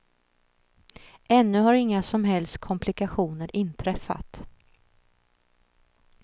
Ännu har inga som helst komplikationer inträffat.